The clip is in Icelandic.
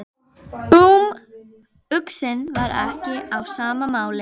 Búmm, uxinn var ekki á sama máli.